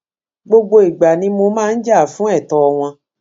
gbogbo ìgbà ni mo máa ń jà fún ẹtọ wọn